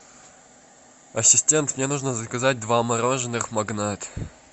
ассистент мне нужно заказать два мороженых магнат